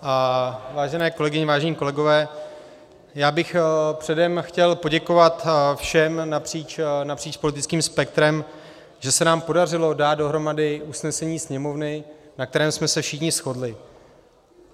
Vážené kolegyně, vážení kolegové, já bych předem chtěl poděkovat všem napříč politickým spektrem, že se nám podařilo dát dohromady usnesení Sněmovny, na kterém jsme se všichni shodli.